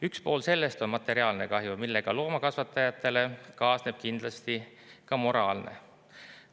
Üks pool sellest on materiaalne kahju, millega loomakasvatajatele kaasneb kindlasti ka moraalne.